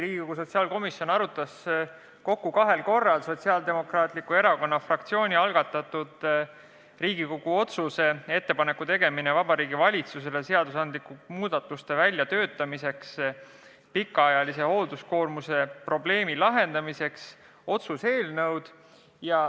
Riigikogu sotsiaalkomisjon arutas kahel korral Sotsiaaldemokraatliku Erakonna fraktsiooni algatatud Riigikogu otsuse "Ettepaneku tegemine Vabariigi Valitsusele seadusandlike muudatuste väljatöötamiseks pikaajalise hoolduskoormuse probleemi lahendamiseks" eelnõu.